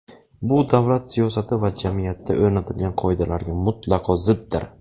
Bu davlat siyosati va jamiyatda o‘rnatilgan qoidalarga mutlaqo ziddir.